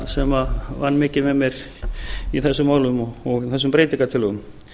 sem vann mikið með mér í þessum málum og þessum breytingartillögum